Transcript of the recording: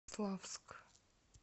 славск